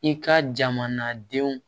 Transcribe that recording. I ka jamanadenw